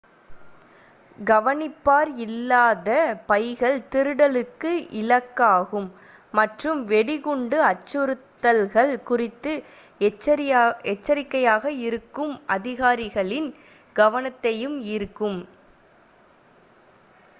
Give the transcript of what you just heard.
கவனிப்பார் இல்லாத பைகள் திருடலுக்கு இலக்காகும் மற்றும் வெடிகுண்டு அச்சுறுத்தல்கள் குறித்து எச்சரிக்கையாக இருக்கும் அதிகாரிகளின் கவனத்தையும் ஈர்க்கும்